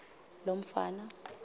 lomfana